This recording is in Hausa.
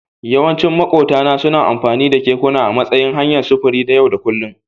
Yawancin makwabtana suna amfani da kekuna a matsayin hanyar sufuri ta yau da kullun